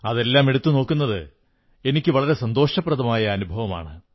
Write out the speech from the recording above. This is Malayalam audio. അതെല്ലാമെടുത്തു നോക്കുന്നത് എനിക്ക് വളരെ സന്തോഷപ്രദമായ അനുഭവമാണ്